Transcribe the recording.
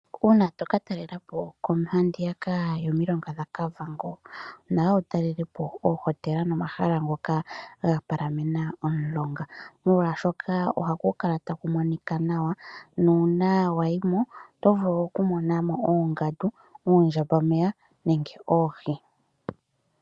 Uuna toka talela po handiyaka yomilonga dhaKavango onawa wu talelepo oohotela nomahala ngoka gapalathana nomulonga molwashoka ohapu kala tapu monika naw nuuna wayimo oto vulu okumona mo oongandu ,oondjamba meya oshowo oohi.